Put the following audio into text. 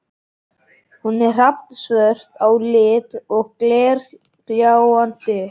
Hún er hrafnsvört á lit og glergljáandi.